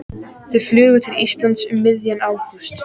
Þau flugu til Íslands um miðjan ágúst.